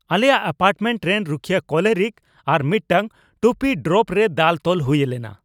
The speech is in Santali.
ᱟᱞᱮᱭᱟᱜ ᱮᱯᱟᱨᱴᱢᱮᱱᱴ ᱨᱮᱱ ᱨᱩᱠᱷᱤᱭᱟᱹ ᱠᱚᱞᱮᱨᱤᱠ ᱟᱨ ᱢᱤᱫᱴᱟᱝ ᱴᱩᱯᱤ ᱰᱨᱚᱯ ᱨᱮ ᱫᱟᱞ ᱛᱚᱞ ᱦᱩᱭ ᱞᱮᱱᱟ ᱾